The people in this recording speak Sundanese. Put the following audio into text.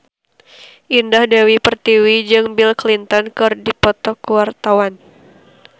Indah Dewi Pertiwi jeung Bill Clinton keur dipoto ku wartawan